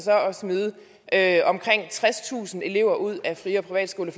at omkring tredstusind elever ud af fri og privatskoler